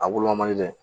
A wolomali dɛ